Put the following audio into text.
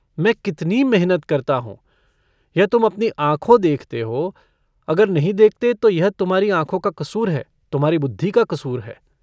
मैं कितनी मिहनत करता हूँ यह तुम अपनी आँखों देखते हो अगर नहीं देखते तो यह तुम्हारी आँखों का कसूर है तुम्हारी बुद्धि का कुसूर है।